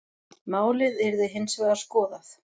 Málið yrði hins vegar skoðað.